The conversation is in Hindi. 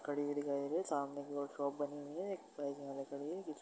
खड़ी हुई दिखाई दे रही है। सामने कि ओर एक शॉप बनी हुई है। एक --